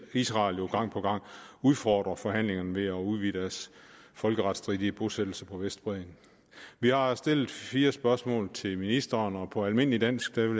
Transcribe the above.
israel jo gang på gang udfordrer forhandlingerne ved at udvide deres folkeretsstridige bosættelser på vestbredden vi har stillet fire spørgsmål til ministeren og på almindelig dansk vil